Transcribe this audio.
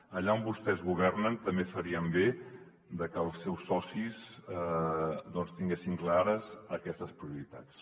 allà on vostès governen també farien bé que els seus socis tinguessin clares aquestes prioritats